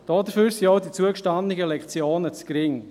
Dafür sind auch die zugestandenen Lektionen zu gering.